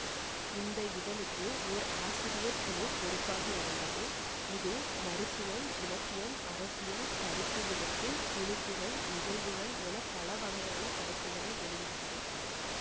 இந்த இதழுக்கு ஒர் ஆசிரியர் குழு பொறுப்பாக இருந்தது இது மருத்துவம் இலக்கியம் அரசியல் கருத்து விதைப்பு துணுக்குகள் நிகழ்வுகள் என பலவகையான படைப்புக்களை வெளியிட்டது